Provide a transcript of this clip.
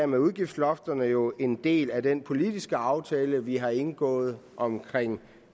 med udgiftslofterne jo en del af den politiske aftale vi har indgået om